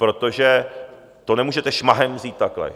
Protože to nemůžete šmahem vzít takhle.